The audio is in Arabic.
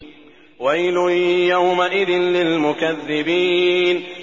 وَيْلٌ يَوْمَئِذٍ لِّلْمُكَذِّبِينَ